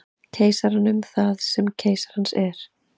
Keisaranum það sem keisarans er.